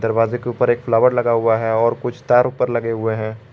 दरवाजे के ऊपर एक फ्लावर लगा हुआ हैं और कुछ तार ऊपर लगे हुए हैं।